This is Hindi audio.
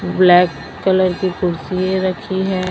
ब्लैक कलर की कुर्सी रखी है।